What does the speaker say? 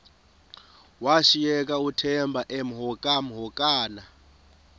washiyeka uthemba emhokamhokana